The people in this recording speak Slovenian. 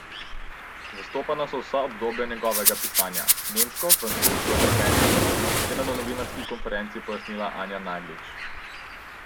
Zastopana so vsa obdobja njegovega pisanja, nemško, francosko in ameriško, je na novinarski konferenci pojasnila Anja Naglič.